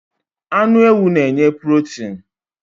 Anu ewu n'nye purotin